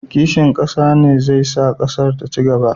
Kishin ƙasa ne zai sa ƙasar ta ci gaba.